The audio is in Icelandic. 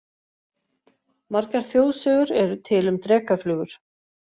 Margar þjóðsögur eru til um drekaflugur.